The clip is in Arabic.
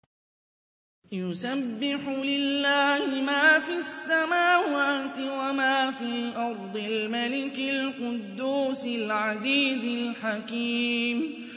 يُسَبِّحُ لِلَّهِ مَا فِي السَّمَاوَاتِ وَمَا فِي الْأَرْضِ الْمَلِكِ الْقُدُّوسِ الْعَزِيزِ الْحَكِيمِ